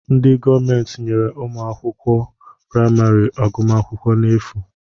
Ndị gọọmenti nyere ụmụ akwụkwọ praịmarị agụmakwụkwọ n'efu